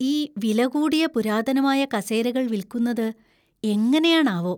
ഈ വില കൂടിയ പുരാതനമായ കസേരകൾ വിൽക്കുന്നത് എങ്ങനെയാണാവോ!